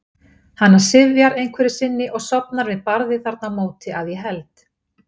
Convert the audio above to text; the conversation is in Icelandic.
Hana syfjar einhverju sinni og sofnar við barðið þarna á móti, að ég held.